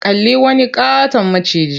Kalli wani ƙaton maciji.